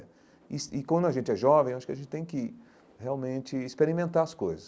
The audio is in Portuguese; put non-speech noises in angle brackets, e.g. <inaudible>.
<unintelligible> e quando a gente é jovem, acho que a gente tem que realmente experimentar as coisas.